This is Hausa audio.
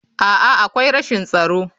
A'a, akwai rashin tsaro.